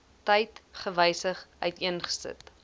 tyd gewysig uiteengesit